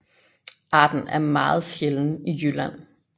Arten er meget sjælden i Jylland